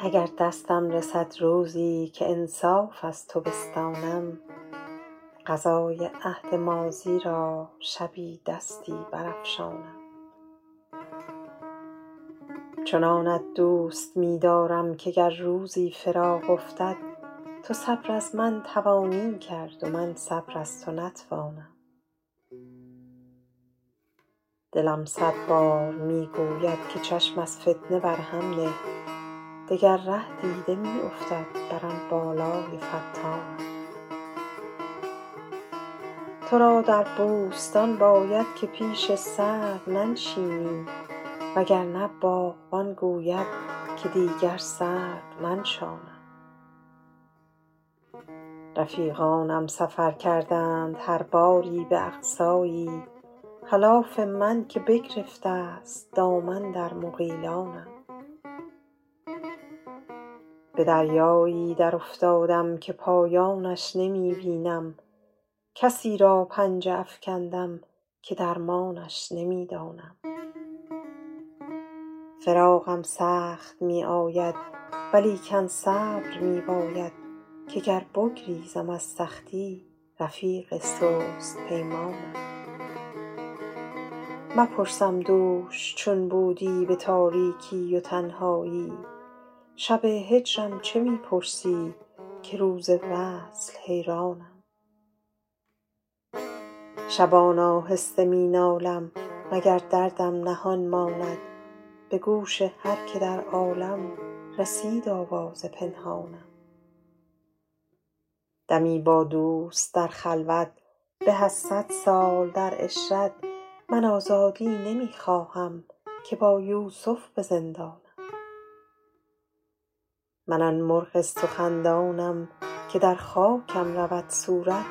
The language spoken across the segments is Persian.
اگر دستم رسد روزی که انصاف از تو بستانم قضای عهد ماضی را شبی دستی برافشانم چنانت دوست می دارم که گر روزی فراق افتد تو صبر از من توانی کرد و من صبر از تو نتوانم دلم صد بار می گوید که چشم از فتنه بر هم نه دگر ره دیده می افتد بر آن بالای فتانم تو را در بوستان باید که پیش سرو بنشینی وگرنه باغبان گوید که دیگر سرو ننشانم رفیقانم سفر کردند هر یاری به اقصایی خلاف من که بگرفته است دامن در مغیلانم به دریایی درافتادم که پایانش نمی بینم کسی را پنجه افکندم که درمانش نمی دانم فراقم سخت می آید ولیکن صبر می باید که گر بگریزم از سختی رفیق سست پیمانم مپرسم دوش چون بودی به تاریکی و تنهایی شب هجرم چه می پرسی که روز وصل حیرانم شبان آهسته می نالم مگر دردم نهان ماند به گوش هر که در عالم رسید آواز پنهانم دمی با دوست در خلوت به از صد سال در عشرت من آزادی نمی خواهم که با یوسف به زندانم من آن مرغ سخندانم که در خاکم رود صورت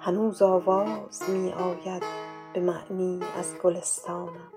هنوز آواز می آید به معنی از گلستانم